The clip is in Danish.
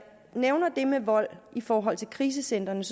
nævner det med vold i forhold til krisecentrene